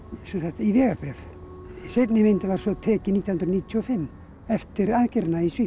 í vegabréf seinni myndin var svo tekin nítján hundruð níutíu og fimm eftir aðgerðina í Svíþjóð